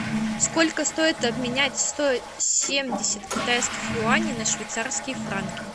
сколько стоит обменять сто семьдесят китайских юаней на швейцарские франки